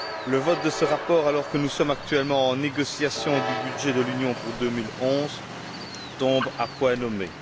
Le vote de ce rapport, alors que nous sommes actuellement en train de négocier le budget de l'Union pour 2011, tombe à point nommé.